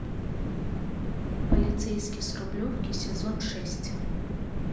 полицейский с рублевки сезон шесть